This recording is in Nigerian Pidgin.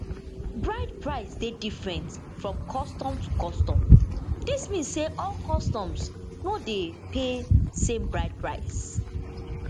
bride price dey different from custom to custom dis mean say all customs no dey pay same bride price